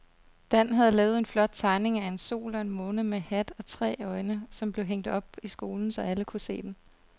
Dan havde lavet en flot tegning af en sol og en måne med hat og tre øjne, som blev hængt op i skolen, så alle kunne se den.